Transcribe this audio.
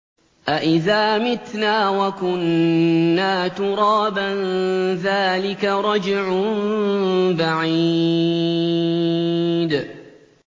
أَإِذَا مِتْنَا وَكُنَّا تُرَابًا ۖ ذَٰلِكَ رَجْعٌ بَعِيدٌ